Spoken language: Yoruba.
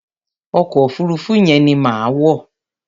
Ọkọ̀ òfuruufú yẹn ni màá wọ̀.